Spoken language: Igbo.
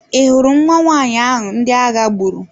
Ị hụrụ nwa nwanyị ahụ ndị agha gburu?